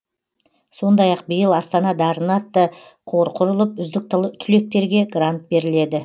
сондай ақ биыл астана дарыны атты қор құрылып үздік түлектерге грант беріледі